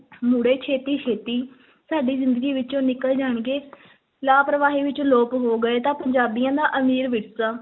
ਮੁੜੇ ਛੇਤੀ-ਛੇਤੀ ਸਾਡੀ ਜ਼ਿੰਦਗੀ ਵਿੱਚੋਂ ਨਿਕਲ ਜਾਣਗੇ ਲਾਪਰਵਾਹੀ ਵਿੱਚ ਲੋਪ ਹੋ ਗਏ ਤਾਂ ਪੰਜਾਬੀਆਂ ਦਾ ਅਮੀਰ ਵਿਰਸਾ